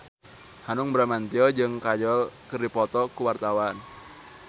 Hanung Bramantyo jeung Kajol keur dipoto ku wartawan